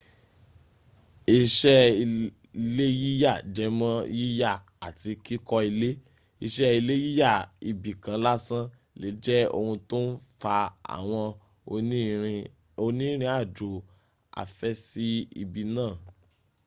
iṣẹ́ ilé yíyà jęmọ́ yíyà àti kíkọ́ ilé. iṣẹ́ ile yíyà ibi kan lásán lè jẹ́ ohun tó ń fa àwọn oní ìrìn àjò afẹ́ sí ibi náà